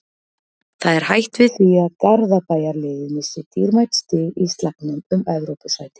Það er hætt við því að Garðabæjarliðið missi dýrmæt stig í slagnum um Evrópusæti.